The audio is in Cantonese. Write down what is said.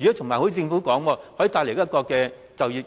而且正如政府所說的，可以帶來就業